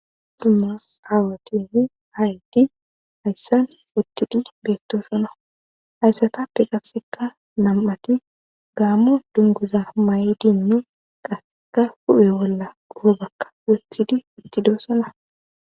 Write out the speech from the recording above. dumma aawatinne aayti hayssan uttidi beettoosona hayssata pi qasekka nam7ati gaammo dunguza ma7i dini qassekka hu7e bolla dhufo bakka wottidi uttidosana